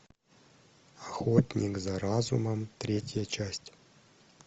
охотник за разумом третья часть